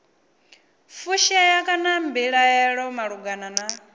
fushea kana mbilaelo malugana na